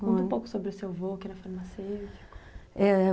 Conta um pouco sobre o seu avô, que era farmacêutico